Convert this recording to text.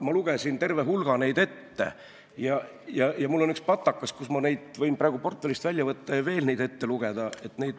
Ma lugesin terve hulga ette ja mul on üks patakas, mille ma võin praegu portfellist välja võtta ja veel neid ette lugeda.